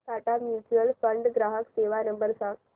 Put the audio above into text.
Tata mutual fund ग्राहक सेवा number सांगा